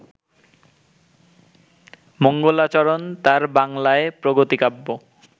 মঙ্গলাচরণ তাঁর বাংলায় প্রগতি-কাব্য